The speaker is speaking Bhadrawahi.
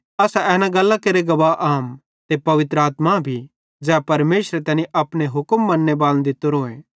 असां एन गल्लां केरे गवाह आम ते पवित्र आत्मा भी ज़ै परमेशरे तैनी अपनो हुक्म मन्ने बालन दित्तोरीए